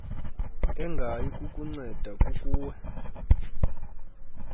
engayi kukunceda kukuwe